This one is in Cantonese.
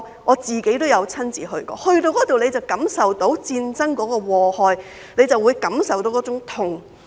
我曾親身前往，在那裏會感受到戰爭的禍害，會感受到那種痛。